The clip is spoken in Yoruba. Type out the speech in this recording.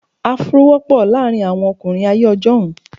Afro wọ́pọ̀ láàárín àwọn ọkùnrin ayé ọjọ́un.